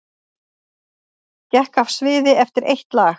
Gekk af sviði eftir eitt lag